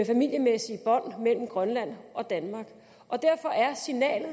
familiemæssige bånd mellem grønland og danmark derfor er signalet